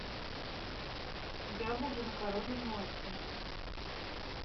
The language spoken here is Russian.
я буду на коровьем молоке